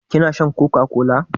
Kina shan coca-cola?